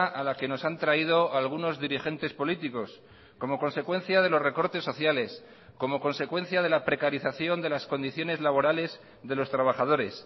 a la que nos han traído algunos dirigentes políticos como consecuencia de los recortes sociales como consecuencia de la precarización de las condiciones laborales de los trabajadores